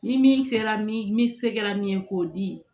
Ni min kɛra min se kɛra min ye k'o di